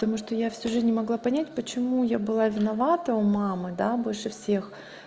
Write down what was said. тому что я всю жизнь не могла понять почему я была виновата у мамы да больше всех